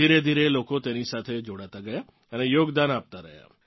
ધીરેધીરે લોકો તેની સાથે જોડાતાં ગયાં અને યોગદાન આપતાં રહ્યાં